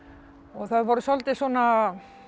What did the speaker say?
það var svolítið svona